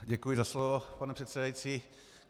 Děkuji za slovo, pane předsedající.